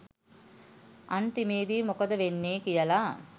අන්තිමේදි මොකද වෙන්නෙ කියල